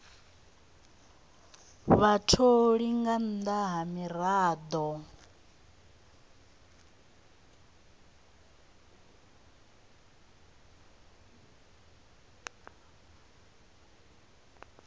vhatholi nga nnḓa ha miraḓo